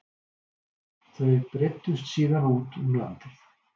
Þau breiddust síðan út um landið